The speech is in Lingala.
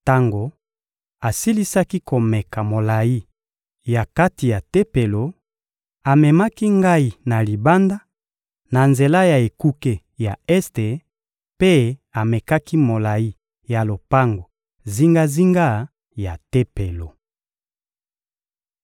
Tango asilisaki komeka molayi ya kati ya Tempelo, amemaki ngai na libanda, na nzela ya ekuke ya este, mpe amekaki molayi ya lopango zingazinga ya Tempelo.